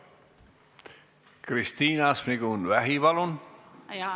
Kristina Šmigun-Vähi, palun!